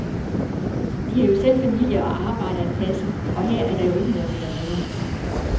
De har jo selv familie og arbejde at passe, og her er der jo ikke noget ved at være.